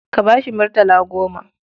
Ka ba shi murtala goma.